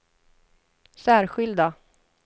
särskilda